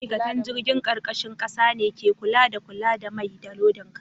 Ma'aikatan jirgin karkashin kasa ne ke kula da kula da mai, da lodin kaya.